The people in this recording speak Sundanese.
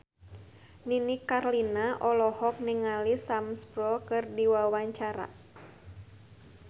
Nini Carlina olohok ningali Sam Spruell keur diwawancara